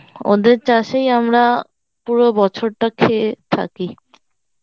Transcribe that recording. ওদের চাষেই আমরা পুরো বছরটা খেয়ে থাকি